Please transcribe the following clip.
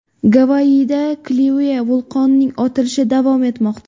Gavayida Kilauea vulqonining otilishi davom etmoqda.